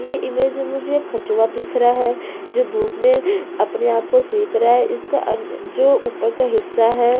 ये इमेज में मुझे कछुआ दिख रहा है जो धुप में अपने आप को सेक रहा है इसका अ जो ऊपर का हिस्सा हैं।